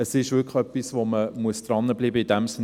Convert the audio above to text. Es ist wirklich etwas, an dem man dranbleiben muss.